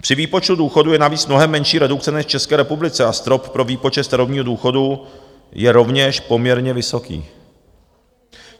Při výpočtu důchodu je navíc mnohem menší redukce než v České republice a strop pro výpočet starobního důchodu je rovněž poměrně vysoký.